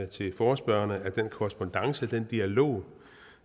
til forespørgerne den korrespondance og den dialog